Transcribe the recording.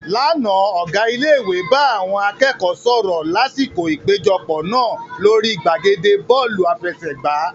Lánàá, Ọ̀gá ilé ìwé bá àwọn akẹ́kọ̀ọ́ sọ̀rọ̀ lásìkò ìpéjọpọ̀ náà lórí gbàgede Bọ́ọ̀lù àfẹsẹ̀gbá